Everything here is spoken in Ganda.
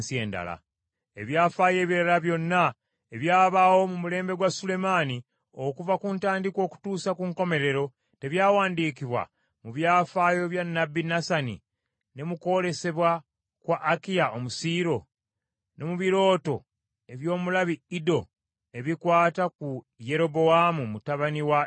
Ebyafaayo ebirala byonna ebyabaawo mu mulembe gwa Sulemaani okuva ku ntandikwa okutuusa ku nkomerero, tebyawandiikibwa mu byafaayo bya nnabbi Nasani, ne mu kwolesebwa kwa Akiya Omusiiro, ne mu birooto eby’omulabi Iddo ebikwata ku Yerobowaamu mutabani wa Nebati?